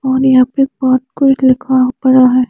और यहाँ पे बाहोत कुछ लिखा पड़ा है।